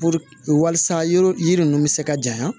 Puruke walisa yɔrɔ yiri ninnu bɛ se ka janɲa